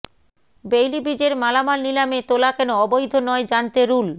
Baillie ব্রিজের মালামাল নিলামে তোলা কেন অবৈধ নয় জানতে রুল